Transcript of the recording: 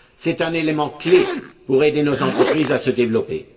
C'est un élément clé pour aider nos entreprises à se développer.